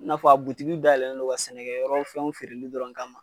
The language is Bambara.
N'a fɔ a butiki dayɛlɛnnen don ka sɛnɛkɛyɔrɔ fɛnw feereli dɔrɔn kama.